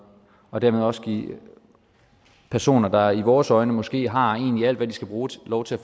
og dermed også give personer der i vores øjne måske har alt hvad de skal bruge lov til at